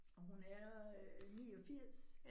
Og hun er øh 89